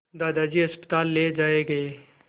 दादाजी अस्पताल ले जाए गए